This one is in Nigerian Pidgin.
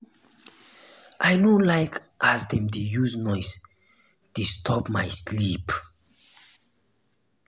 i no like as dem dey use noise disturb my sleep.